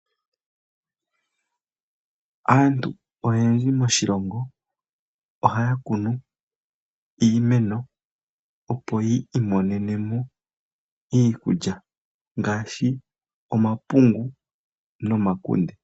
Aantu oyendji moshilongo ohaya kunu iimeno opo yi imonene mo iikulya ngaashi omapungu nomakunde.